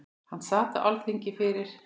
Hann sat á Alþingi fyrir